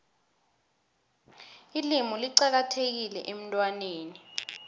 ilimu licakathekile emntwaneni